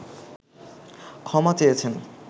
ক্ষমা চেয়েছেন